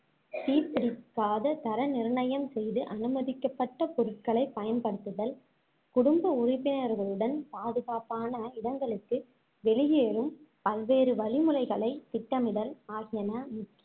தீப்பிடிக்காத தர நிர்ணயம் செய்து அனுமதிக்கப்பட்ட பொருட்களைப் பயன்படுத்துதல் குடும்ப உறுப்பினர்களுடன் பாதுகாப்பான இடங்களுக்கு வெளியேறும் பல்வேறு வழிமுறைகளைத் திட்டமிடல் ஆகியன